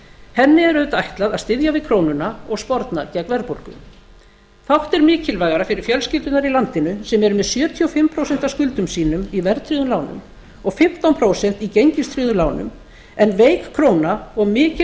henni er auðvitað ætlað að styðja við krónuna og sporna gegn verðbólgu fátt er mikilvægara fyrir fjölskyldurnar í landinu sem eru með sjötíu og fimm prósent af skuldum sínum í verðtryggðum lánum og fimmtán prósent í gengistryggðum lánum en veik króna og mikil